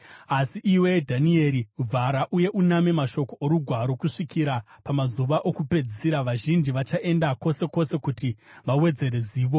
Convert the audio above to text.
Asi iwe, Dhanieri, vhara uye uname mashoko orugwaro kusvikira pamazuva okupedzisira. Vazhinji vachaenda kwose kwose kuti vawedzere zivo.”